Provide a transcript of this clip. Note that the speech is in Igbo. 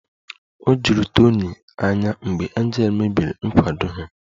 O juru Tony anya mgbe Angel mebiri nkwado ha